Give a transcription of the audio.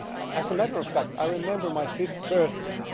As a matter of fact I remember my fifth birthday.